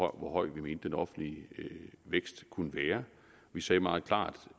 om hvor høj vi mente den offentlige vækst kunne være vi sagde meget klart